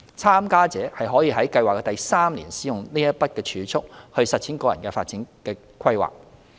參加者可於計劃的第三年使用該筆儲蓄來實踐個人發展規劃。